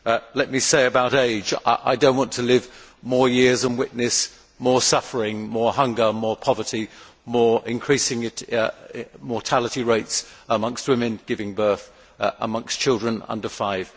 Let me say about age I do not want to live more years and witness more suffering, more hunger, more poverty, and increasing mortality rates amongst women giving birth and amongst children under five.